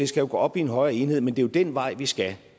skal jo gå op i en højere enhed men det er den vej vi skal